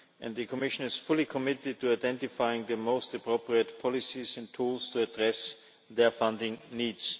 The Commission is fully committed to identifying the most appropriate policies and tools to address their funding needs.